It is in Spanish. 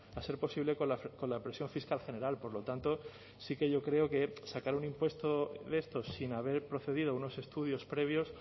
a a ser posible con la presión fiscal general por lo tanto sí que yo creo que sacar un impuesto de estos sin haber procedido a unos estudios previos